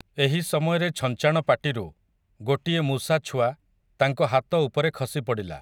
ଏହି ସମୟରେ ଛଞ୍ଚାଣ ପାଟିରୁ, ଗୋଟିଏ ମୂଷାଛୁଆ, ତାଙ୍କ ହାତ ଉପରେ ଖସିପଡ଼ିଲା ।